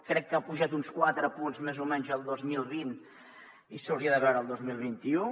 crec que ha pujat uns quatre punts més o menys el dos mil vint i s’hauria de veure el dos mil vint u